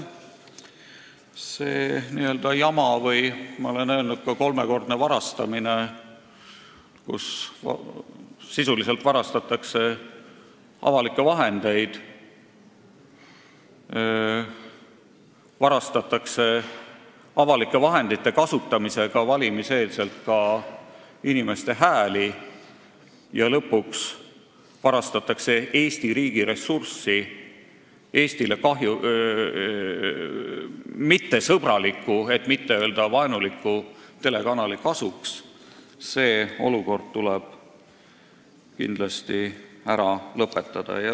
See n-ö jama ja olukord või, ma olen öelnud, ka kolmekordne varastamine, kus sisuliselt varastatakse avalikke vahendeid – varastatakse avalike vahendite kasutamisega valimiste eel ka inimeste hääli ja lõpuks varastatakse Eesti riigi ressurssi Eestile ebasõbraliku, et mitte öelda vaenuliku telekanali kasuks –, tuleb kindlasti ära lõpetada.